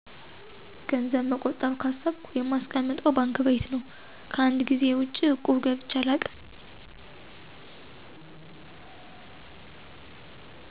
ገንዘብ መቆጠብ ካሰብኩ የማስቀምጠው ባንክ ቤት ነው። ከአንድ ጊዜ ውጭ እቁብ ገብቼ አላውቅም።